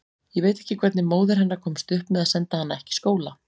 Ég veit ekki hvernig móðir hennar komst upp með að senda hana ekki í skóla.